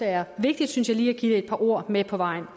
er vigtigt synes jeg lige at give det et par ord med på vejen